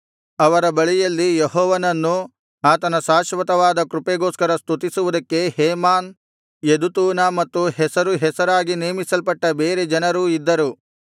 ಅವರ ಬಳಿಯಲ್ಲಿ ಯೆಹೋವನನ್ನು ಆತನ ಶಾಶ್ವತವಾದ ಕೃಪೆಗೋಸ್ಕರ ಸ್ತುತಿಸುವುದಕ್ಕೆ ಹೇಮಾನ್ ಯೆದುತೂನ ಮತ್ತು ಹೆಸರು ಹೆಸರಾಗಿ ನೇಮಿಸಲ್ಪಟ್ಟ ಬೇರೆ ಜನರೂ ಇದ್ದರು